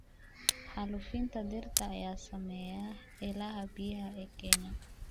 Xaalufinta dhirta ayaa saameeya ilaha biyaha ee Kenya.